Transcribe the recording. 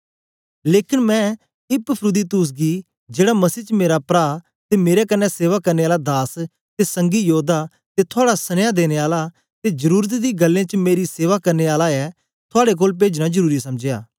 लेकन मैं इपफ्रुदीतुस गी जेड़ा मसीह च मेरा प्रा ते मेरे कन्ने सेवा करने आला दास ते संगी योद्दा ते थुआड़ा सनिया देने आला ते जरुरत दी गल्लें च मेरी सेवा करने आला ऐ थुआड़े कोल पेजना जरुरी समझया